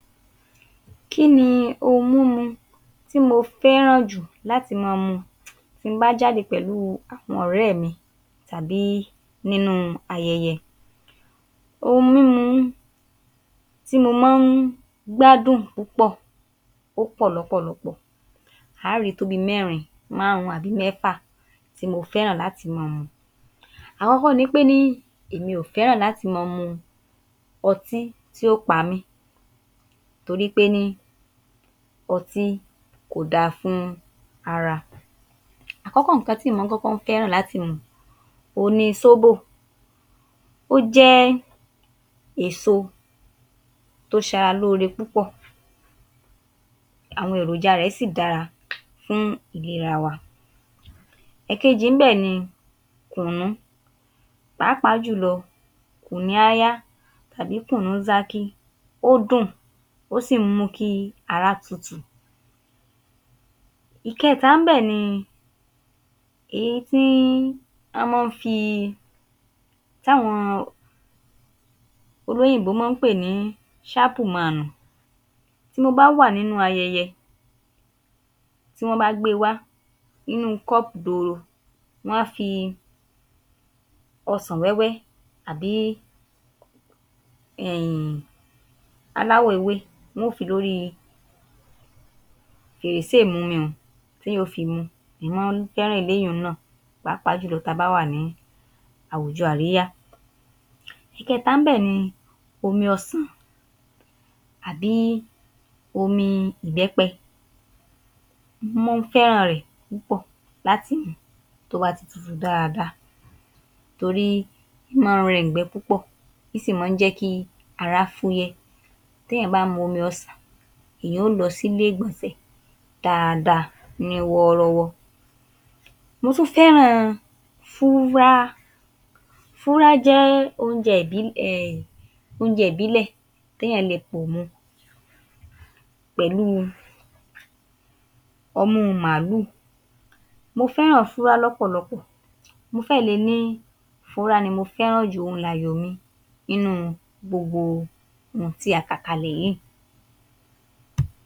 Kí ni ohun múmu tí mo fẹ́ràn jù láti máa mu tí n bá jáde pẹ̀lú àwọn ọ̀rẹ́ mi tàbí nínú ayẹyẹ. Ohun múmu tí mo máa ń gbádùn púpọ̀ ó pọ̀ lọ́pọ̀lọpọ̀, a ó rí tó bíi mẹ́rin, márùn-ún àbí mẹ́fà tí mo fẹ́ràn lati máa mu. Àkọ́kọ́ ni ṕe ní èmi ò fẹ́ràn láti máa mu ọtí tí ó pa mí, torí pé ní ọtí kò dáa fún ara. Àkọ́kọ́ ǹkan tí ǹ máa kọ́kọ́ fẹ́ràn láti mu òhun ni sóbò. Ó jẹ́ èso tó ń ṣe ara lóore púpò, àwọn èròjà rẹ̀ sì dára fún ìlera wa. Èkejì ńbè ni kùnnú, pàápàá jùlọ kùnníáyá tàbí kùnnúńsákí, ó dùn, ó sì ń mú kí ara tutù. Ìkẹ́ta ńbẹ̀ ni èyí tí a máa ń fi tàwọn olóyìnbó máa ń pè ní sápùmaanù, tí mo bá wà nínú ayẹyẹ, tí wọ́n bá gbé e wá, inú cup doro wọ́n á fi ọsàn wéẹ́wẹ́ àbí um aláwọ̀ èwe wọn ó fi lórí i fèrèsé ìmumi un téyàn ò fi mu ún, ǹń máa fẹ́ràn eléyiùn náà, pàápàá jùlọ ta bá wà ní àwùjọ àríyá. Ìkẹta ńbẹ̀ ni omi ọsàn àbí omi ìbẹ́pẹ, mo fẹ́ràn rẹ̀ púpọ̀ láti mu tó bá ti tutù dáadáa, torí ń máa ń rẹ ùngbẹ púpọ̀, ń sì máa ń jẹ́ kí ará fúyẹ́. Téyàn bá mu omi ọsàn, èèyàn ó lọ sílé ìgbọ̀nsẹ̀ dáada ní wọ́ọ́rọ́wọ́. Mo tún fẹ́ràn fúrá, f́úrá jẹ́ oúnjẹ oúnjẹ ìbílẹ̀ téyàn le pò mu pẹ̀lú ọmú màlùú, mo fẹ́ràn fúrá lọ́pọ̀lọpọ̀, mo fẹ́ẹ̀ le ní fúrá ni mo fẹ́ràn jù òun lààyò mi nínú gbogbo hun tí a kà kalẹ̀ yìí